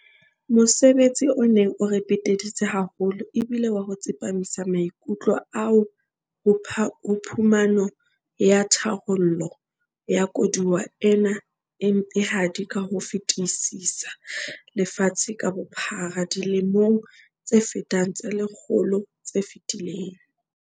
Mosebetsi o neng o re peteditse haholo e bile wa ho tsepamisa maikutlo a AU ho phumano ya tharollo ya koduwa ena e mpehadi ka ho fetisisa lefatshe ka bophara dilemong tse fetang tse le kgolo tse fetileng.